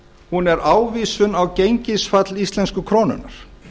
hún er ávísun á gengisfall íslensku krónunnar